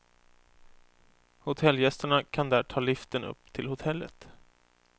Hotellgästerna kan där ta liften upp till hotellet.